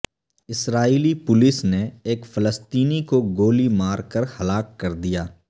اسرائیلی police نے ایک فلسطینی کو گولی مار کر ہلاک کر دیا